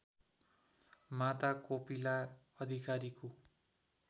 माता कोपिला अधिकारीको